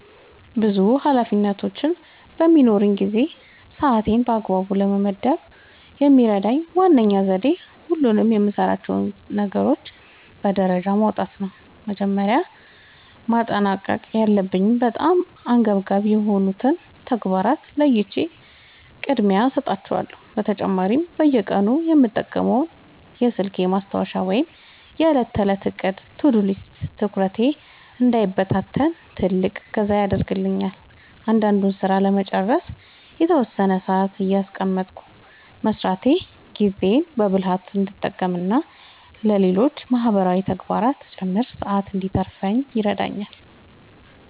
ብዙ ኃላፊነቶች በሚኖሩኝ ጊዜ ሰዓቴን በአግባቡ ለመመደብ የሚረዳኝ ዋነኛው ዘዴ ሁሉንም የምሠራቸውን ነገሮች በደረጃ ማውጣት ነው። መጀመሪያ ማጠናቀቅ ያለባቸውንና በጣም አንገብጋቢ የሆኑትን ተግባራት ለይቼ ቅድሚያ እሰጣቸዋለሁ። በተጨማሪም በየቀኑ የምጠቀመው የስልኬ ማስታወሻ ወይም የዕለት ተዕለት ዕቅድ (To-Do List) ትኩረቴ እንዳይበታተን ትልቅ እገዛ ያደርግልኛል። እያንዳንዱን ሥራ ለመጨረስ የተወሰነ ሰዓት እያስቀመጥኩ መሥራቴ ጊዜዬን በብልሃት እንድጠቀምና ለሌሎች ማህበራዊ ተግባራትም ጭምር ሰዓት እንድተርፈኝ ይረዳኛል።